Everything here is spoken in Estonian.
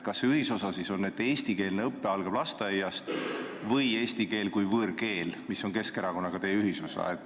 Kas ühisosa on see, et eestikeelne õpe algab lasteaiast, või see, et seal algab eesti keele kui võõrkeele õpe, mis on Keskerakonnaga teie ühisosa?